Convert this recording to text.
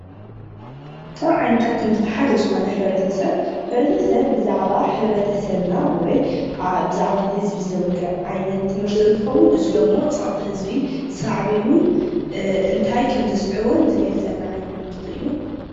ካብ ዓይነታት ትምህርቲ ሐደ ዘኾነ ሕብርተሰብ ሕብረተሰብ ብዛዕባ ሕብረተሰብና ወይ ብዛዕባ ህዝብ ዘዋግዕ ዓይነት ትምህርት እንትኾዉን እዝ ዶሞ ፀቅጢ ህዝብ ሳዕቤኑን እንታይ ከም ዝስዕቡ ዝገልፀልና ትምህርት አዩ፡፡